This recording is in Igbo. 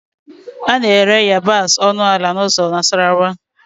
A na-ere yabasị ọnụ ala n'ụzọ Nasarawa